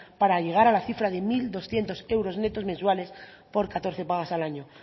para llegar a la cifra de mil doscientos euros netos mensuales por catorce pagas al año